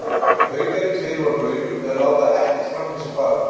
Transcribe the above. Haukarnir tveir voru á launum við að láta ekkert framhjá sér fara.